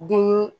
Den